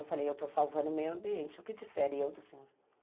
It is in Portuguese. Eu falei, eu estou salvando o meio ambiente, o que difere eu do senhor?